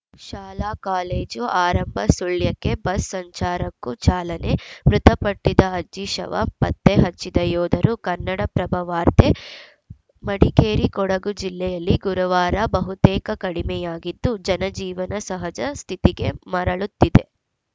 ಶಾಲಾಕಾಲೇಜು ಆರಂಭ ಸುಳ್ಯಕ್ಕೆ ಬಸ್‌ ಸಂಚಾರಕ್ಕೂ ಚಾಲನೆ ಮೃತಪಟ್ಟಿದ್ದ ಅಜ್ಜಿ ಶವ ಪತ್ತೆ ಹಚ್ಚಿದ ಯೋಧರು ಕನ್ನಡಪ್ರಭ ವಾರ್ತೆ ಮಡಿಕೇರಿ ಕೊಡಗು ಜಿಲ್ಲೆಯಲ್ಲಿ ಗುರುವಾರ ಬಹುತೇಕ ಕಡಿಮೆಯಾಗಿದ್ದು ಜನಜೀವನ ಸಹಜ ಸ್ಥಿತಿಗೆ ಮರಳುತ್ತಿದೆ